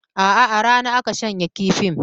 Aa, a rana aka shanya kifin